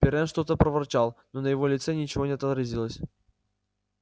пиренн что-то проворчал но на его лице ничего не отразилось